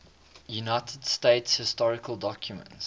united states historical documents